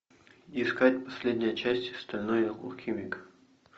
искать последняя часть стальной алхимик